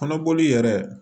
Kɔnɔboli yɛrɛ